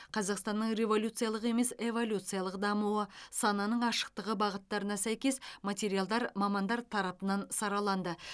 қазақстанның революциялық емес эволюциялық дамуы сананың ашықтығы бағыттарына сәйкес материалдар мамандар тарапынан сараланды